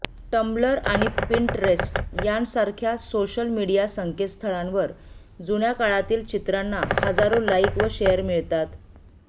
tumbler आणि Pinterest यांसारख्या social media संकेतस्थळांवर जुन्या काळातील चित्रांना हजारो लाईक व शेअर मिळतात